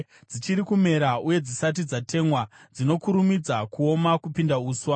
Dzichiri kumera uye dzisati dzatemwa, dzinokurumidza kuoma kupinda uswa.